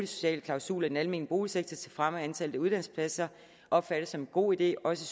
sociale klausuler i den almene boligsektor til fremme af antallet af uddannelsespladser opfattes som en god idé også